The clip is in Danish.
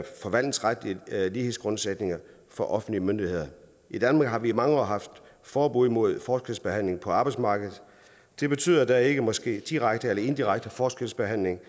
lighedsgrundsætninger for offentlige myndigheder i danmark har vi i mange år haft forbud mod forskelsbehandling på arbejdsmarkedet det betyder at der ikke må ske direkte eller indirekte forskelsbehandling